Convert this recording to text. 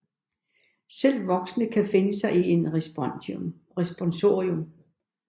Selv voksne kan finde sig i en responsorium